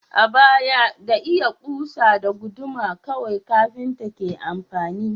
A baya, da iya kusa da guduma kawai kafinta ke aiki.